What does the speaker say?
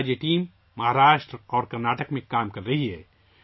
آج یہ ٹیم مہاراشٹرا اور کرناٹک میں کام کر رہی ہے